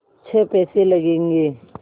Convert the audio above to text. छः पैसे लगेंगे